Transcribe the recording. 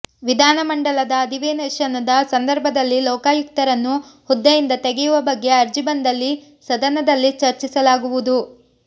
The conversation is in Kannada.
ವಿಧಾನಮಮಂಡಲದ ಅಧಿವೇಶನದ ಸಂದರ್ಭದಲ್ಲಿ ಲೋಕಾಯುಕ್ತರನ್ನು ಹುದ್ದೆಯಿಂದ ತೆಗೆಯುವ ಬಗ್ಗೆ ಅರ್ಜಿ ಬಂದಲ್ಲಿ ಸದನದಲ್ಲಿ ಚರ್ಚಿಸಲಾಗುವುದು